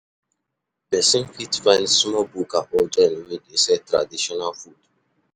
Person fit find small bukka or joint wey dey sell traditional food